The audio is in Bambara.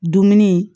Dumuni